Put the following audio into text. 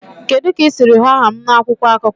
Kedu ka ị siri hụ aha m na akwụkwọ akụkọ?